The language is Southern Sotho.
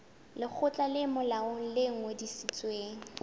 lekgotla le molaong le ngodisitsweng